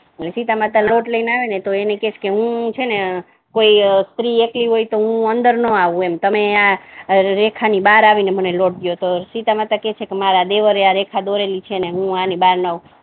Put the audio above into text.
સીતામાતા લોટ લઈને આવે ને તો એને કહે કે હુ છે ને કોઈ સ્ત્રી એકલી હોય ને તો હુ અંદર નહી આવુ એમ તમે આ રેખાની બાહર આવીને લોટ દો એટલે સીતામાતા કહે છે કે મારા દેવરે આ રેખા દોરેલી છે ને હુ આની બાહર ના આવુ